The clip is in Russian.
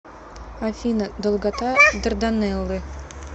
афина долгота дарданеллы